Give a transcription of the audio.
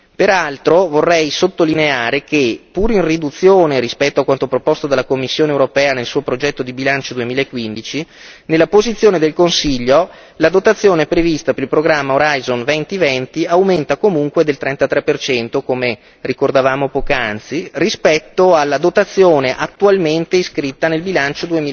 Peraltro, vorrei sottolineare che, pur in riduzione rispetto a quanto proposto dalla Commissione europea nel suo progetto di bilancio 2015, nella posizione del Consiglio, la dotazione prevista per il programma Horizon 2020 aumenta comunque del 33 per cento, come ricordavamo poc'anzi rispetto alla dotazione attualmente iscritta nel bilancio